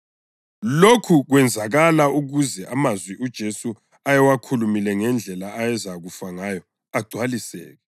Lokhu kwenzakala ukuze amazwi uJesu ayewakhulumile ngendlela ayezakufa ngayo agcwaliseke.